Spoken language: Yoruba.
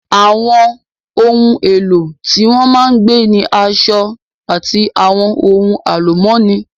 Àwọn ohun èlò tí wọ́n máa ń gbé ni aṣọ, àti àwọn ohun àlùmọ́nì